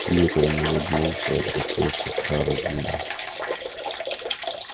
пиренн улыбнулся и обратился к хардину